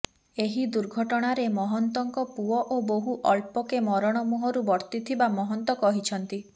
ଏହି ଦୁର୍ଘଟଣାରେ ମହନ୍ତଙ୍କ ପୁଅ ଓ ବୋହୂ ଅଳ୍ପକେ ମରଣ ମୁହଁରୁ ବର୍ତ୍ତି ଥିବା ମହନ୍ତ କହିଛନ୍ତି